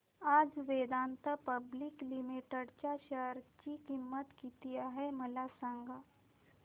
आज Vedanta Public Limited च्या share ची किंमत किती आहे मला सांगा